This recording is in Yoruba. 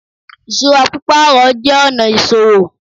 Ìṣúra pípàrọ̀ jé ọ̀nà ìsòwò